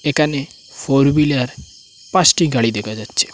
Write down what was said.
এখানে four wheeler পাঁচটি গাড়ি দেখা যাচ্ছে।